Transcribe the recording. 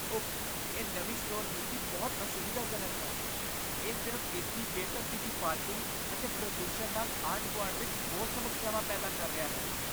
Of ! ਇਹ ਨਵੀਂ store ਨੀਤੀ ਬਹੁਤ ਅਸੁਵਿਧਾਜਨਕ ਹੈ ਇਹ ਸਿਰਫ਼ ਇਸ ਦੀ ਬੇਤਰਤੀਬੀ ਪਾਰਕਿੰਗ ਅਤੇ ਪ੍ਰਦੂਸ਼ਣ ਨਾਲ ਆਂਢ ਗੁਆਂਢ ਵਿੱਚ ਹੋਰ ਸਮੱਸਿਆਵਾਂ ਪੈਦਾ ਕਰ ਰਿਹਾ ਹੈ